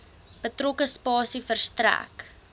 betrokke spasie verstrek